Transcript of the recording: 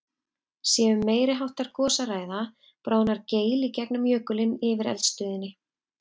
Sé um meiri háttar gos að ræða, bráðnar geil í gegnum jökulinn yfir eldstöðinni.